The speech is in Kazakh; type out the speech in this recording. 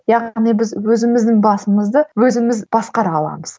яғни біз өзіміздің басымызды өзіміз басқара аламыз